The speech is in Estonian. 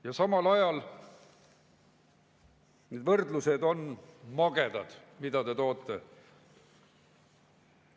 Ja samal ajal need võrdlused, mida te toote, on magedad.